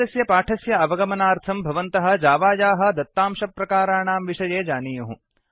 एतस्य पाठस्य अवगमनार्थं भवन्तः जावायाः दत्तांशप्रकाराणां विषये जानीयुः